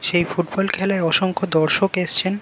সেই ফুটবল খেলায় অসংখ্য দর্শক এসছেন ।